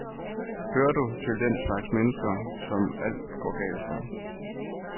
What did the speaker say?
Hører du til den slags mennesker, som alt går galt for?